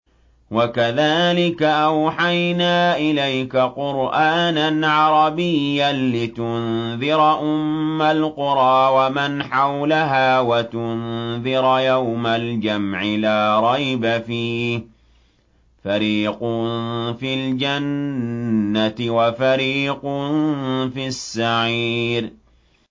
وَكَذَٰلِكَ أَوْحَيْنَا إِلَيْكَ قُرْآنًا عَرَبِيًّا لِّتُنذِرَ أُمَّ الْقُرَىٰ وَمَنْ حَوْلَهَا وَتُنذِرَ يَوْمَ الْجَمْعِ لَا رَيْبَ فِيهِ ۚ فَرِيقٌ فِي الْجَنَّةِ وَفَرِيقٌ فِي السَّعِيرِ